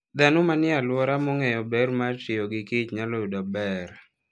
Dhano manie alwora mong'eyo ber mar tiyo gi kich nyalo yudo ber.